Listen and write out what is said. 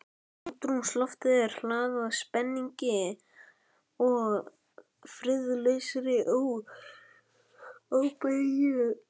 Andrúmsloftið var hlaðið spenningi- og friðlausri óþreyju.